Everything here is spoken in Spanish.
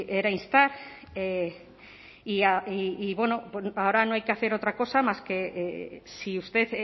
era instar y ahora no hay que hacer otra cosa más que si usted